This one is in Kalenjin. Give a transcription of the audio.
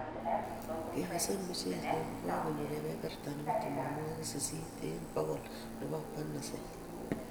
Kekesei mchelek ko kakonyon kebeberta nebo tamanwokik sisit eng bokol nebo panicles